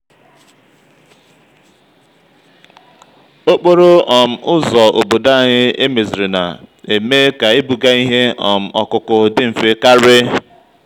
okporo um ụzọ obodo anyị e mezirina-eme ka ibuga ihe um ọkụkụ dị mfe karị.